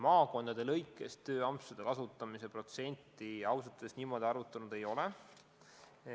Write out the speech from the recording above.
Maakondade lõikes tööampsude võimaluste kasutamise protsenti me arvutanud ei ole.